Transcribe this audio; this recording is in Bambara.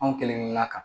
Anw kelenkelenna kan